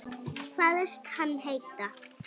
Kvaðst hann heita